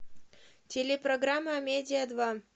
телепрограмма амедиа два